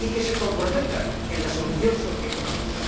que se comprometan en la solución socioeconómica.